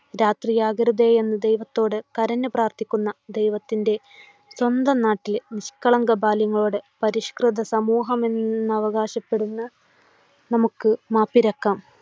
രാത്രിയാകരുതേ എന്നു കരഞ്ഞു പ്രാർത്ഥക്കുന്ന ദൈവത്തിൻറെ സ്വന്തം നാട്ടിലെ നിഷ്കളങ്ക ബാല്യങ്ങളോട് പരിഷ്‌കൃത സമൂഹമെന്നവകാശപ്പെടുന്ന നമുക്ക് മാപ്പിരക്കാം.